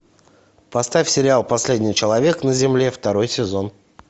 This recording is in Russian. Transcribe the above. поставь сериал последний человек на земле второй сезон